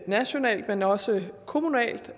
nationalt men også kommunalt